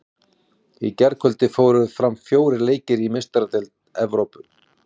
Í gærkvöldi fóru fram fjórir leikir í Meistaradeild Evrópu.